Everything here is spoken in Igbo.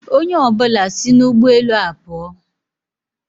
Onye ọ bụla si n'ụgbọ elu a pụọ.